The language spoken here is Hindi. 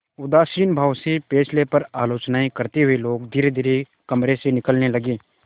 उदासीन भाव से फैसले पर आलोचनाऍं करते हुए लोग धीरेधीरे कमरे से निकलने लगे